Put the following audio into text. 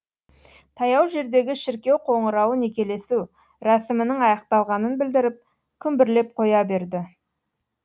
таяу жердегі шіркеу қоңырауы некелесу рәсімінің аяқталғанын білдіріп күмбірлеп қоя берді